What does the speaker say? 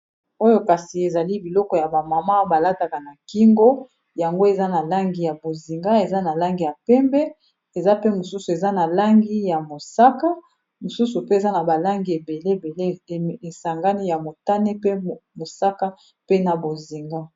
Oyo kasi, ezali biloko ya ba mama, ba lataka na kingo. Yango, eza na langi ya bozinga, eza na langi ya pembe, eza pe mosusu eza na langi ya mosaka. Mosusu pe, eza na ba langi ebele, ebele esangani. Ya motane, pe mosaka, pe na bozinga.